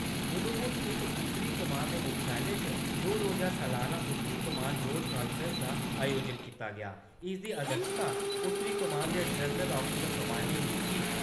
उधमपुर स्थित उत्तरी कमान दे मुख्यालय च दो रोजा सालाना उत्तरी कमान रोड कान्फ्रेंस दा आयोजन कीता गेआ। इसदी अध्यक्षता उत्तरी कमान दे जनरल आफिसर कमाडिंग-इन-चीफ